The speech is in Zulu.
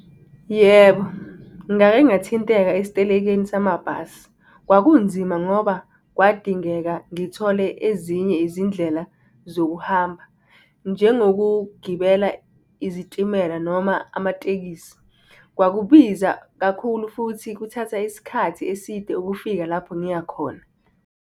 Yebo, ngake ngathinteka esitelekeni samabhasi, kwakunzima ngoba kwadingeka ngithole ezinye izindlela zokuhamba. Njengokugibela izitimela noma amatekisi. Kwakubiza kakhulu futhi kuthatha isikhathi eside ukufika lapho ngiyakhona.